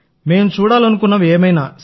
మేం చూడాలనుకున్నవి ఏవైనా సి